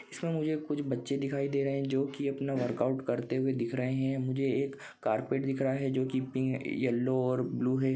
इसमे मुझे कुछ बच्चे दिखाई दे रहे है जो की अपना वर्कआउट करते हुए दिख रहे है। मुझे एक कार्पेट दिख रहा है जो की पिंक येल्लो और ब्लू है।